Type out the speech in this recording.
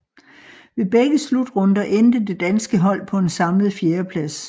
Ved begge slutrunder endte det danske hold på en samlet fjerdeplads